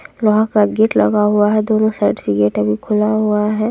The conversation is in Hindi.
लोहा का गेट लगा हुआ है दोनों साइड से गेट अभी खुला हुआ है।